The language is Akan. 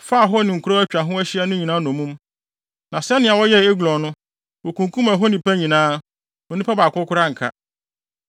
faa hɔ ne nkurow a atwa ho ahyia no nyinaa nnommum. Na sɛnea wɔyɛɛ Eglon no, wokunkum ɛhɔ nnipa nyinaa. Onipa baako koraa anka.